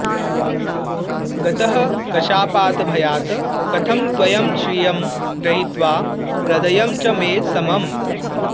गतः कशापातभयात् कथं त्वयं श्रियं गृहीत्वा हृदयं च मे समम्